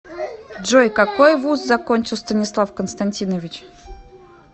джой какой вуз закончил станислав константинович